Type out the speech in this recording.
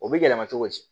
O bɛ yɛlɛma cogo di